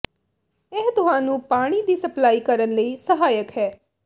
ਇਹ ਤੁਹਾਨੂੰ ਪਾਣੀ ਦੀ ਸਪਲਾਈ ਕਰਨ ਲਈ ਸਹਾਇਕ ਹੈ